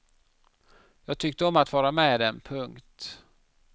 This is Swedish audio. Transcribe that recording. Jag tyckte om att vara med dem. punkt